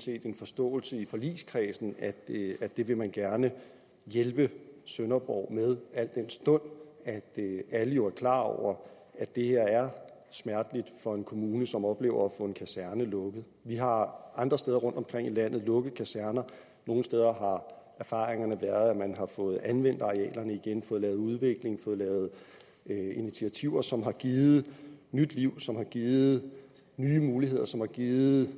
set en forståelse i forligskredsen at det vil man gerne hjælpe sønderborg med al den stund at alle jo er klar over at det her er smerteligt for en kommune som oplever at få en kaserne lukket vi har andre steder rundtomkring i landet lukket kaserner nogle steder erfaringerne været at man har fået anvendt arealerne igen fået lavet udvikling fået lavet initiativer som har givet nyt liv som har givet nye muligheder som har givet